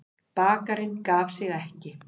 Bakarinn gaf sig ekki.